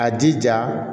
A jija